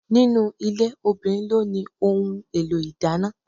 Ninu ilé, obìnrin ló ni ohun èlò ìdáná.